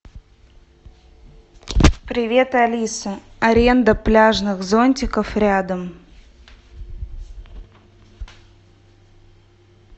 привет алиса аренда пляжных зонтиков рядом